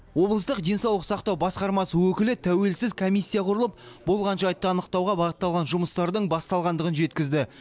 облыстық денсаулық сақтау басқармасы өкілі тәуелсіз комиссия құрылып болған жайтты анықтауға бағытталған жұмыстардың басталғандығын жеткізді